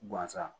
Guwansa